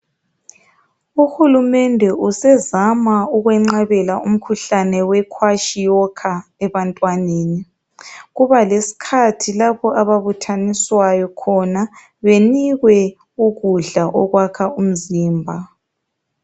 Uhulumende usezama ukwenqabela umkhuhlane we Kwashiorkor ebantwaneni kuba lesikhatji lapho ababuthaniswayo khona benikwe ukudla okwakha umzimba.